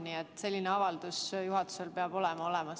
Nii et selline avaldus peab juhatusel olemas olema.